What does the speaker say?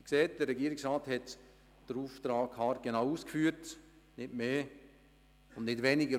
Sie sehen, dass der Regierungsrat den Auftrag haargenau ausgeführt hat – nicht mehr und nicht weniger.